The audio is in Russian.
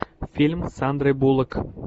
фильм с сандрой буллок